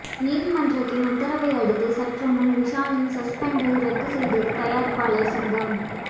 நீதிமன்றத்தின் உத்தரவை அடுத்து சற்று முன் விஷாலின் சஸ்பெண்டை ரத்து செய்தது தயாரிப்பாளர் சங்கம்